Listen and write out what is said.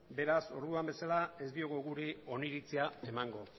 beraz orduan bezala ez diogu gure oniritzia emango